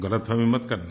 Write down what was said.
गलतफ़हमी मत करना